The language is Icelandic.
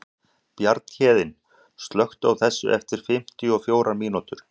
Bjarnhéðinn, slökktu á þessu eftir fimmtíu og fjórar mínútur.